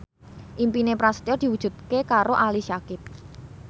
impine Prasetyo diwujudke karo Ali Syakieb